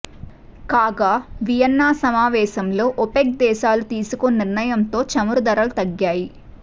కాగా వియన్నా సమావేశంలో ఓపెక్ దేశాలు తీసుకున్న నిర్ణయంతో చమురు ధరల తగ్గాయి